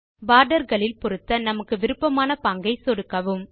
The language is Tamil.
போர்டர் களில் பொருத்த நமக்கு விருப்பமான பாங்கை சொடுக்கவும்